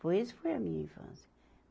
Foi isso foi a minha infância.